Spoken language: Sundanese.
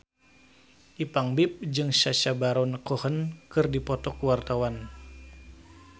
Ipank BIP jeung Sacha Baron Cohen keur dipoto ku wartawan